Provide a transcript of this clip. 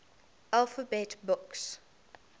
alphabet books